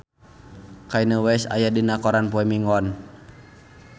Kanye West aya dina koran poe Minggon